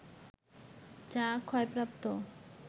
যা ক্ষয়প্রাপ্ত